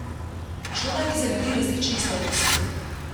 Šlo naj bi za ljudi različnih starosti.